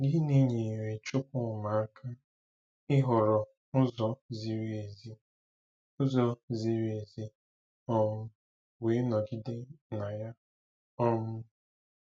Gịnị nyeere Chukwuma aka ịhọrọ ụzọ ziri ezi ụzọ ziri ezi um wee nọgide na ya? um